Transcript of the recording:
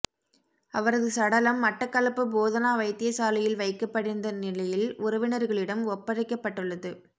அவரது சடலம் மட்டக்களப்பு போதனா வைத்தியசாலையில் வைக்கப்பட்டிருந்த நிலையில் உறவினர்களிடம் ஒப்படைக்கப்பட்டுள்ளது